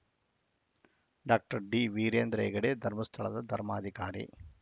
doctor D Veerendra Heggade ಧರ್ಮಸ್ಥಳದ ಧರ್ಮಾಧಿಕಾರಿ